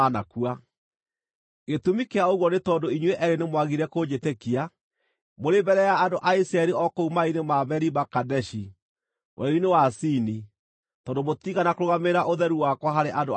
Gĩtũmi kĩa ũguo nĩ tondũ inyuĩ eerĩ nĩmwagire kũnjĩtĩkia mũrĩ mbere ya andũ a Isiraeli o kũu maaĩ-inĩ ma Meriba Kadeshi werũ-inĩ wa Zini tondũ mũtiigana kũrũgamĩrĩra ũtheru wakwa harĩ andũ a Isiraeli.